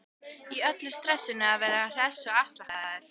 Í öllu stressinu að vera hress og afslappaður.